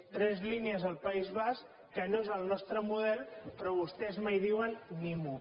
tres línies al país basc que no és el nostre model però vostès mai diuen ni mu